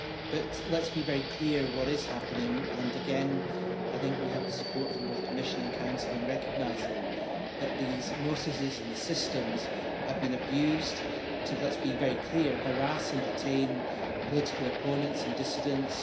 But let us be very clear what is happening and again we have support from both the Commission and Council in recognising that these notices and the systems have been abused to let us be very clear harass and detain political opponents and dissidents.